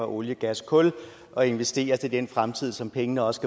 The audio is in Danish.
olie gas og kul og investeres til den fremtid som pengene også